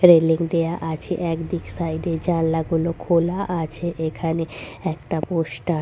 railing দেওয়া আছে একদিক সাইড -এ জানালা গুলো খোলা আছে এখানে একটা পোস্টা--